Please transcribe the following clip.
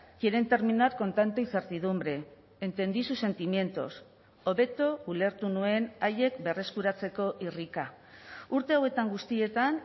quieren terminar con tanta incertidumbre entendí sus sentimientos hobeto ulertu nuen haiek berreskuratzeko irrika urte hauetan guztietan